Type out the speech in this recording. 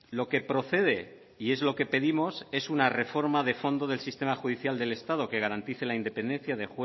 lo que procede y es lo que pedimos es una reforma de fondo del sistema judicial del estado que garantice la independencia